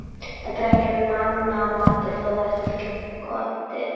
Þetta er ekki mannamatur, þó það sé fullgott í